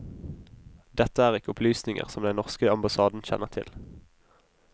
Dette er ikke opplysninger som den norske ambassaden kjenner til.